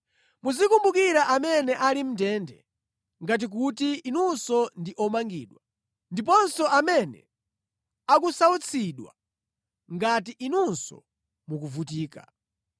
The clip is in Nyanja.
Muzikumbukira amene ali mʼndende ngati kuti inunso ndi omangidwa, ndiponso amene akusautsidwa ngati inunso mukuvutika.